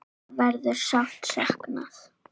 Þeirra verður sárt saknað.